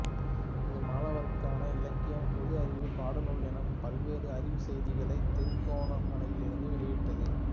இது மாணவர்களுக்கான இலக்கியம் பொது அறிவு பாடநூல் எனப் பல்வேறு அறிவுச் செய்திகளை திருகோணமலையிலிருந்து வெளியிட்டது